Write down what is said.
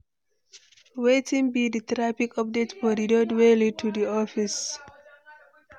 Wetin be di traffic updates for di road wey lead to di office?